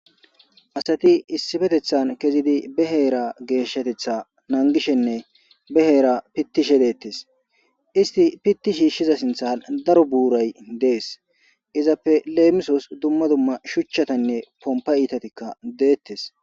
Asati issifetethan kezidi beheera geeshshatetha nangishenne beheera pittishe deettes isti pitti shiishshiza sinthan daro buuray dees izappe leemisos dumma dumma shuchchatanne pompa itatikka deettes.